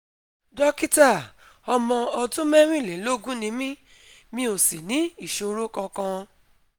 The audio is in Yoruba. Dókítà, ọmọ ọdún mẹ́rìnlélógún ni mí, mi ò sì ní ìṣòro kankan